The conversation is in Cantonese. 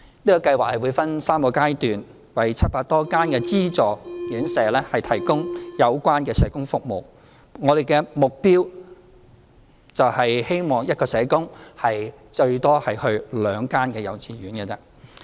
這個計劃會分3個階段，為700多間的資助院舍提供有關的社工服務，我們的目標是希望一名社工最多服務兩間幼稚園。